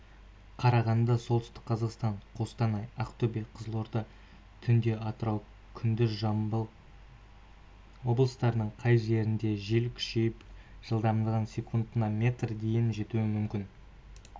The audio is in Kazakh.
қарағанды солтүстік қазақстан қостанай ақтөбе қызылорда түнде атырау күндіз жамбыл облыстарының кей жерлерінде жел күшейіп жылдамдығы секундына метрге дейін жетуі мүмкін